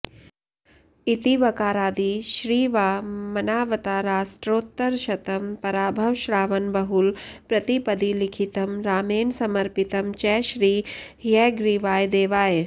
इति वकारादि श्री वामनावताराष्टोत्तरशतम् पराभव श्रावण बहुल प्रतिपदि लिखितं रामेण समर्पितं च श्री हयग्रीवायदेवाय